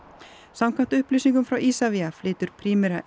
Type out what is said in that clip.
samkvæmt upplýsingum frá Isavia flytur Primera